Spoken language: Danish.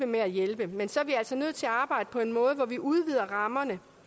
med at hjælpe men så er vi altså nødt til at arbejde på en måde hvor vi udvider rammerne